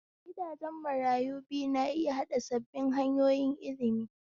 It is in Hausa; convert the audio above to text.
Gidajen marayu biyu na iya haɗa sabbin hanyoyin ilimi.